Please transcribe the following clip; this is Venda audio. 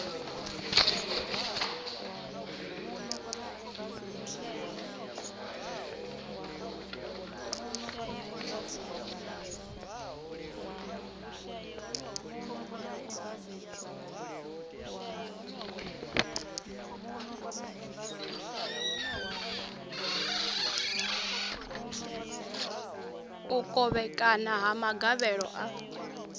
u kovhekana ha magavhelo a